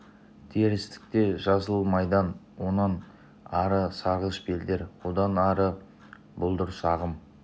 терістікте жасыл майдан онан ары сарғыш белдер одан да ары бұлдыр сағым